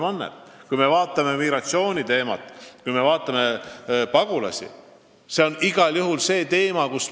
Mis puutub migratsiooni ja pagulastesse, siis see on igal juhul teema, millega tuleb tegelda.